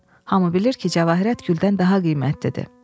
Hamı bilir ki, cavahirət güldən daha qiymətli dedi.